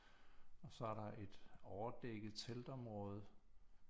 Og så er der et overdækket teltområde